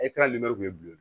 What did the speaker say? E ka limeri kun ye bilen